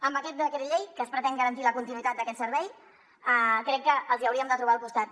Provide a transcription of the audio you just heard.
en aquest decret llei amb què es pretén garantir la continuïtat d’aquest servei crec que els hi hauríem de trobar al costat